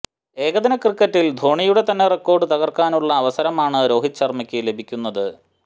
ഏകദിന ക്രിക്കറ്റിൽ ധോണിയുടെ തന്നെ റെക്കോർഡ് തകർക്കാനുളള അവസരമാണ് രോഹിത് ശർമ്മയ്ക്ക് ലഭിക്കുന്നത്